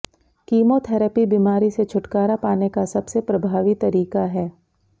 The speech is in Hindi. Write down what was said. कीमोथेरेपी बीमारी से छुटकारा पाने का सबसे प्रभावी तरीका है